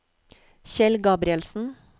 Kjell Gabrielsen